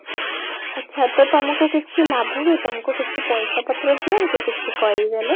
ଆଚ୍ଛା ତ ତମକୁ କିଛି ଲାଭ ହୁଏ ତମକୁ କିଛି ପଇସା ପତ୍ର ଦିଅନ୍ତି କିଛି